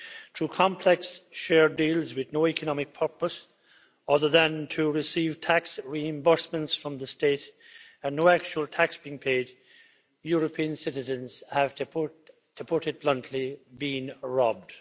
Through complex share deals with no economic purpose other than to receive tax reimbursements from the state and no actual tax being paid, European citizens have, to put it bluntly, been robbed.